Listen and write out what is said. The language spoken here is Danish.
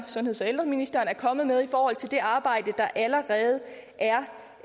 sundheds og ældreministeren er kommet med i forhold til det arbejde der allerede